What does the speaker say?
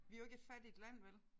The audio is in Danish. Vi jo ikke et fattigt land vel